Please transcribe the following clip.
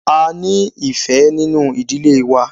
A ní ìfẹ́ nínú ìdílé wa